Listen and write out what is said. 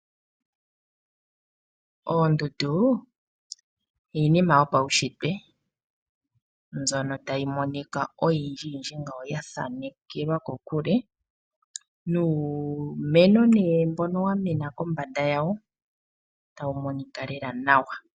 Oondundu iinima yopaushitwe. Mbyono tayi monika oyindji yindji ngawo yathanekelwa kokule, nuumeno ne mbonowamena kombanda yawo tawu monika nawa lela.